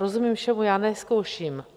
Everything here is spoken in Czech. Rozumím všemu, já nezkouším.